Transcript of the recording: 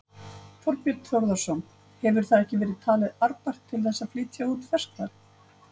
Þorbjörn Þórðarson: Hefur það ekki verið talið arðbært til þess að flytja út ferskvatn?